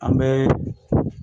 An bɛ